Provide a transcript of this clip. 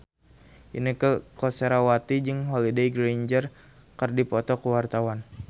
Inneke Koesherawati jeung Holliday Grainger keur dipoto ku wartawan